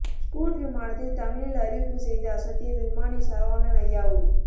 Scoot விமானத்தில் தமிழில் அறிவிப்பு செய்து அசத்திய விமானி சரவணன் அய்யாவு